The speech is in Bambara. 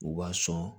U b'a sɔn